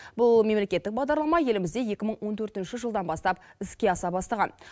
бұл мемлекеттік бағдарлама елімізде екі мың он төртінші жылдан бастап іске аса бастаған